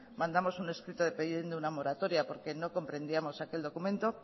mandamos un escrito pidiendo una moratoria porque no comprendíamos aquel documento